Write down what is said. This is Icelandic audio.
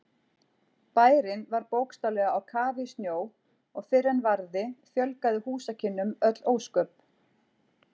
Bærinn var bókstaflega á kafi í snjó og fyrr en varði fjölgaði húsakynnum öll ósköp.